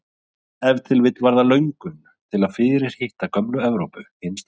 Ef til vill var það löngun til að fyrirhitta gömlu Evrópu hinsta sinni.